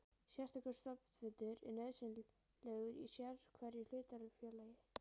Sérstakur stofnfundur er nauðsynlegur í sérhverju hlutafélagi.